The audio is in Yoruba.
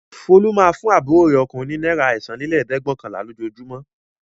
Folú máa ń fún àbúrò rẹ̀ ọkùnrin ní náírà ẹ̀sánlélẹ́ẹ̀dẹ́gvẹ̀ọ̀kànlá lójoojúmọ́.